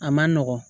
A man nɔgɔn